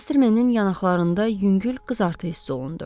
Mastermenin yanaqlarında yüngül qızartı hiss olundu.